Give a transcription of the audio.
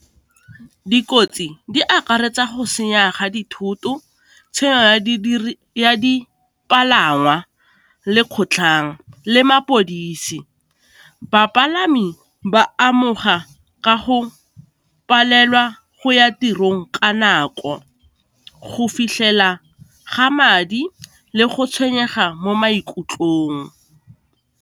Dikotsi di akaretsa go senya ga dithoto, tshenyo ya dipalangwa, le kgotlhang le mapodisi. Bapalami ba amogela ka go palelwa go ya tirong ka nako go fitlhela ga madi le go tshwenyega mo maikutlong.